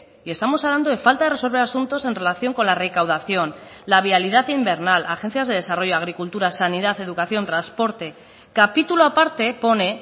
y estamos hablando de falta de resolver asuntos en relación con la recaudación la vialidad invernal agencias de desarrollo agricultura sanidad educación transporte capítulo aparte pone